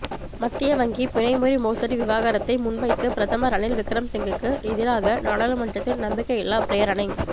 மத்திய வங்கி பிணைமுறி மோசடி விவகாரத்தை முன்வைத்து பிரதமர் ரணில் விக்கிரமசிங்கவுக்கு எதிராக நாடாளுமன்றத்தில் நம்பிக்கையில்லாப் பிரேரணை